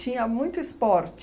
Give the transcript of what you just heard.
Tinha muito esporte.